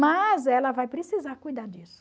Mas ela vai precisar cuidar disso.